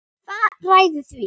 Hvað ræður því?